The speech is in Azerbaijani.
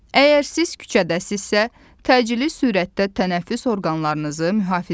Əgər siz küçədəsinizsə, təcili sürətdə tənəffüs orqanlarınızı mühafizə edin.